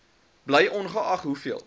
bly ongeag hoeveel